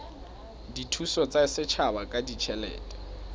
dithuso tsa setjhaba ka ditjhelete